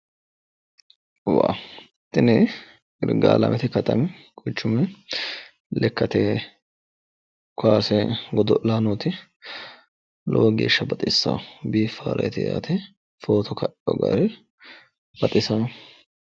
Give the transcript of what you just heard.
Tini irgaalamete katami quchumi lekkate kaase godo'laanooti. Lowo geeshsha baxissaa biiffareeti yaate footo kaino gari baxisaa.